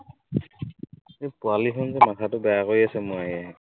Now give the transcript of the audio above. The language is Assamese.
এই পোৱালিখিনি যে মাথাটো বেয়া কৰি আছো মোৰ আহি আহি।